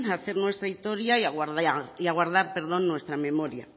a hacer nuestra historia y a guardar nuestra memoria